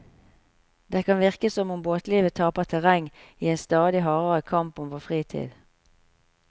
Det kan virke som om båtlivet taper terreng i i en stadig hardere kamp om vår fritid.